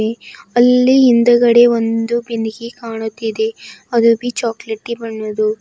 ಅಲ್ಲಿ ಹಿಂದುಗಡೆ ಒಂದು ಬಿಂದಿಗೆ ಕಾಣುತ್ತಿದೆ ಅದು ಚಾಕಲೇಟಿ ಬಣ್ಣದ್ದು.